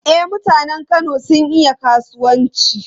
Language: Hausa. E, mutanen Kano sun iya kasuwanci.